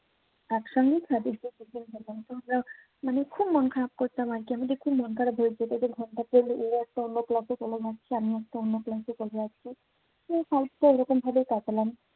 একসঙ্গে মানে খুব মন খারাপ করতাম আরকি। এমনিতে খুব মন খারাপ হয়ে যেত। ও একটা অন্য class এ চলে যাচ্ছে আমি একটা অন্য class এ চলে যাচ্ছি। তো five টা এরকমভাবে কাটালাম।